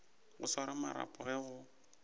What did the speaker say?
go swara marapo ge go